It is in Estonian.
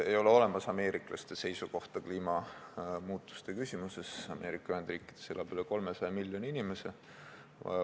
Ei ole olemas ameeriklaste seisukohta kliimamuutuste küsimuses, Ameerika Ühendriikides elab üle 300 miljoni inimese.